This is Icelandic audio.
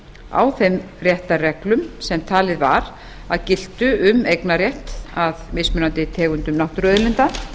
á þeim réttarreglum sem talið var að giltu um eignarrétt að mismunandi tegundum náttúruauðlinda